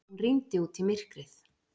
Hún rýndi út í myrkrið.